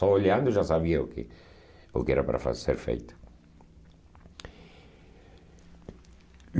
Só olhando já sabia o que o que era para fa ser feito.